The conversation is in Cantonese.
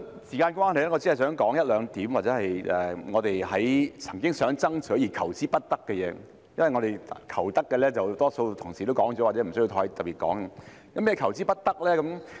時間關係，我只是想提出一兩點，是我們曾經爭取但求之不得的地方，因為我們求得的，多數同事已經提及，或者不需要再特別提出。